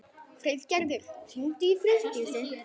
Friðgerður, hringdu í Friðdísi.